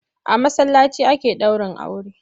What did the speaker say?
A masallaci ake ɗaurin aure.